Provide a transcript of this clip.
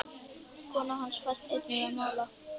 Kona hans fæst einnig við að mála.